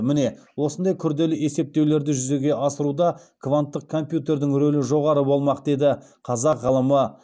міне осындай күрделі есептеулерді жүзеге асыруда кванттық компьютердің рөлі жоғары болмақ деді қазақ ғылымы